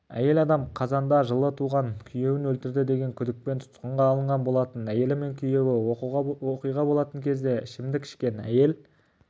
әйел адам қазанда жылы туған күйеуін өлтірді деген күдікпен тұтқынға алынған болатын әйелі мен күйеуі оқиға болатын кезде ішімдік ішкен әйел